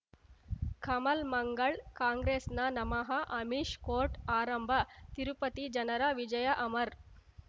ಕಮಲ್ ಮಂಗಳ್ ಕಾಂಗ್ರೆಸ್ನ ನಮಃ ಅಮಿಷ್ ಕೋರ್ಟ್ ಆರಂಭ ತಿರುಪತಿ ಜನರ ವಿಜಯ ಅಮರ್